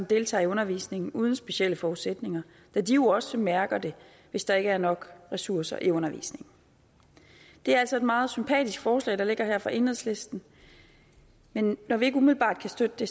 deltager i undervisningen uden specielle forudsætninger da de jo også mærker det hvis der ikke er nok ressourcer i undervisningen det er altså et meget sympatisk forslag der ligger her fra enhedslisten men når vi ikke umiddelbart kan støtte det